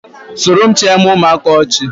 soromchịa eme ụmụaka ọchị